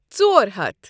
ژۄر ہتھ